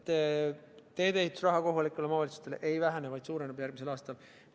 Teedeehituse raha kohalikele omavalitsustele ei vähene, vaid suureneb järgmisel aastal.